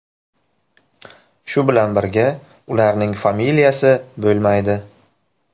Shu bilan birga ularning familiyasi bo‘lmaydi.